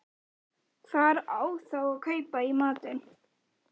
Hvar á þá að kaupa í matinn?